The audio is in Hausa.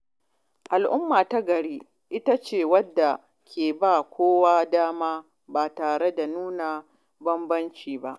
Al’umma ta gari ita ce wadda ke ba kowa dama ba tare da nuna bambanci ba.